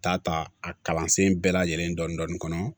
Ta ta a kalansen bɛɛ lajɛlen dɔni dɔni kɔnɔ